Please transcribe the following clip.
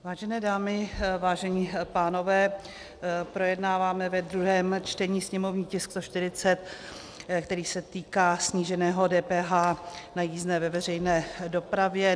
Vážené dámy, vážení pánové, projednáváme ve druhém čtení sněmovní tisk 140, který se týká sníženého DPH na jízdné ve veřejné dopravě.